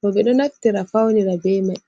bo, ɓe ɗo naftira fawnira be may.